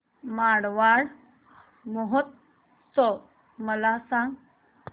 मारवाड महोत्सव मला सांग